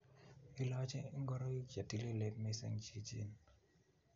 Ilochi ingoroik che tililen missing' chichin